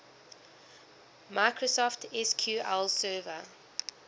microsoft sql server